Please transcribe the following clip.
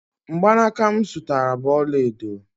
mgbanaka m zụtara bụ ọla edo